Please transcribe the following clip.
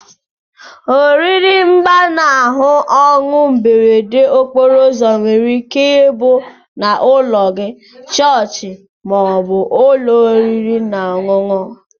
Oriri mgbanahu onwu mberede okporo ụzọ nwere ike ibu na ụlọ gi, chọọchi ma obu ụlọ oriri na ọnyụnyụ.